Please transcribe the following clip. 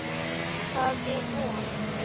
Það er von.